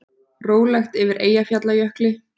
Rólegt yfir Eyjafjallajökli